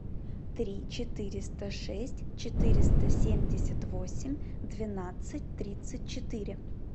три четыреста шесть четыреста семьдесят восемь двенадцать тридцать четыре